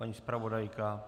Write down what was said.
Paní zpravodajka?